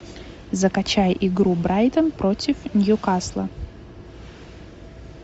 закачай игру брайтон против ньюкасла